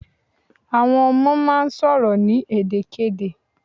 Àwọn ọmọ máà ń sọ̀rọ̀ ní èdè kedè